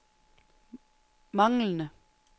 manglede